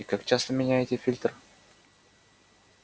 и как часто меняете фильтр